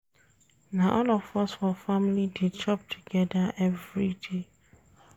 Na all of us for family dey chop togeda everyday